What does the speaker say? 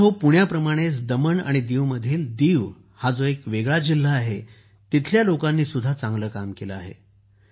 मित्रांनो पुण्याप्रमाणेच दमण आणि दीवमधील दीव जो एक वेगळा जिल्हा आहे तिथल्या लोकांनीही चांगले काम केले आहे